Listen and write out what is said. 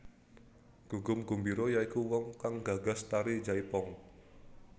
Gugum Gumbiro ya iku wong kang gagas tari jaipong